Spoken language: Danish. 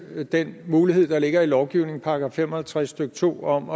den mulighed der ligger i lovgivningen § fem og halvtreds stykke to om